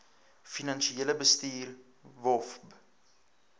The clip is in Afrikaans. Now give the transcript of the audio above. finansiële bestuur wofb